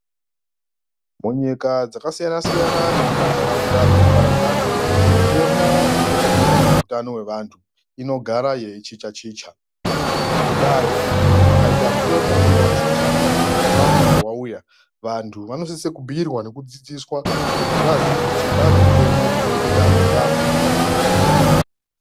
Munyika dzakasiyana siyana nemumantaraunda dzakaparadzana mitemo ine chekuita nezveutano hwevantu inogara yeichicha chicha, ngendayo pakaita mutemo unenge wachicha kana kuti mutsva unenge wauya , vantu vanosise kubhuyirwa nekudzidziswa kuti vaziye kuti kwaane mutemo unoreketa zvakati nezvakati.